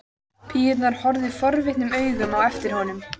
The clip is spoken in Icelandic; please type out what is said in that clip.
Píurnar horfa forvitnum augum á eftir honum.